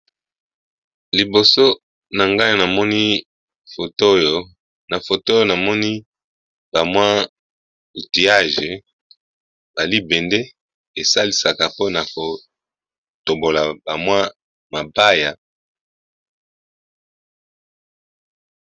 Liboso na ngai namoni foto oyo, na foto oyo namoni ba mwa outillage ba libende esalisaka mpona ko tobola ba mwa mabaya.